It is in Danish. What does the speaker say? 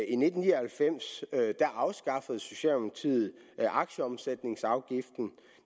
i nitten ni og halvfems afskaffede socialdemokratiet aktieomsætningsafgiften